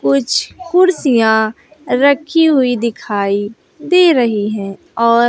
कुछ कुर्सियां रखी हुई दिखाई दे रही है और--